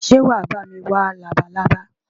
Ṣé wàá bá mi wá labalábá?